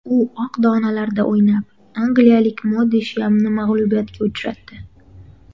U oq donalarda o‘ynab, angliyalik Modi Shiyamni mag‘lubiyatga uchratdi.